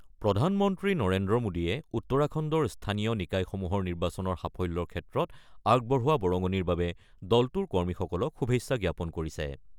প্ৰধানমন্ত্ৰী নৰেন্দ্ৰ মোডীয়ে উত্তৰাখণ্ডৰ স্থানীয় নিকায়সমূহৰ নিৰ্বাচনৰ সাফল্যৰ ক্ষেত্ৰত আগবঢ়োৱা বৰঙণিৰ বাবে দলটোৰ কৰ্মীসকলক শুভেচ্ছা জ্ঞাপন কৰিছে।